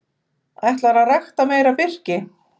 Ætlar að rækta meira birki